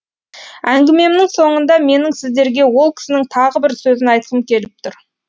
әңгімемнің соңында менің сіздерге ол кісінің тағы бір сөзін айтқым келіп тұр